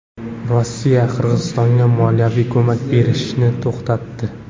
Rossiya Qirg‘izistonga moliyaviy ko‘mak berishni to‘xtatdi.